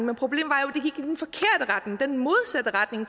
den modsatte retning